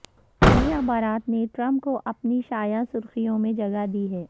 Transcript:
چینی اخبارات نے ٹرمپ کو اپنی شہ سرخیوں میں جگہ دی ہے